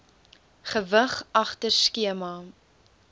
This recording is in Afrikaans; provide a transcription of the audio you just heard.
gewig agter skema